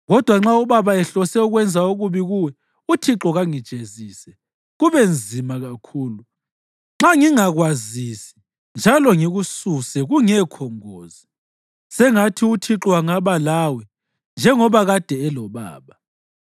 Kodwa nxa ubaba ehlose ukwenza okubi kuwe, uThixo kangijezise, kube nzima kakhulu, nxa ngingakwazisi njalo ngikususe kungekho ngozi. Sengathi uThixo angaba lawe njengoba kade elobaba.